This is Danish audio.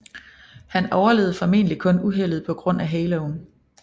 Han overlevede formentlig kun uheldet på grund af haloen